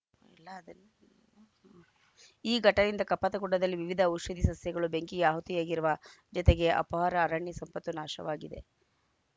ಇಲ್ಲ ಅದು ಈ ಘಟಯಿಂದ ಕಪ್ಪತ್ತಗುಡ್ಡದಲ್ಲಿ ವಿವಿಧ ಔಷಧೀಯ ಸಸ್ಯಗಳು ಬೆಂಕಿಗೆ ಆಹುತಿಯಾಗಿರುವ ಜತೆಗೆ ಅಪಾರ ಅರಣ್ಯ ಸಂಪತ್ತು ನಾಶವಾಗಿದೆ